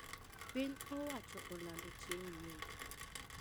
piny owacho olando chieng` yweyo